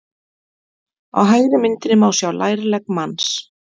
á hægri myndinni má sjá lærlegg manns